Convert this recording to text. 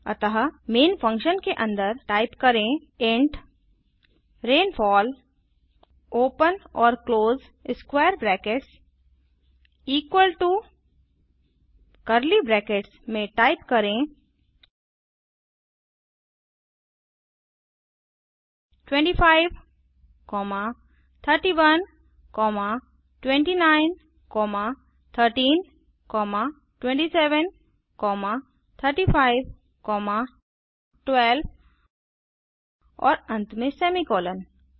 अतः main function के अन्दर टाइप करें इंट रेनफॉल ओपन और close square brackets equal to curly brackets में टाइप करें 25 31 29 13 27 3512 और अंत में सेमीकोलन